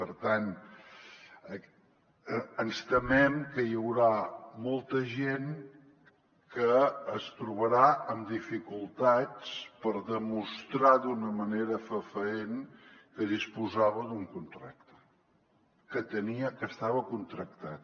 per tant ens temem que hi haurà molta gent que es trobarà amb dificultats per demostrar d’una manera fefaent que disposava d’un contracte que estava contractat